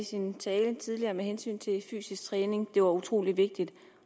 sin tale tidligere med hensyn til fysisk træning det var utrolig vigtigt